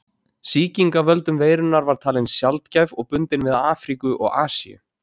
Sýking af völdum veirunnar var talin sjaldgæf og bundin við Afríku og Asíu.